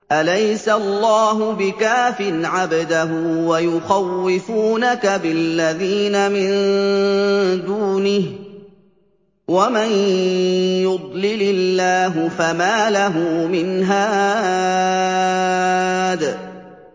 أَلَيْسَ اللَّهُ بِكَافٍ عَبْدَهُ ۖ وَيُخَوِّفُونَكَ بِالَّذِينَ مِن دُونِهِ ۚ وَمَن يُضْلِلِ اللَّهُ فَمَا لَهُ مِنْ هَادٍ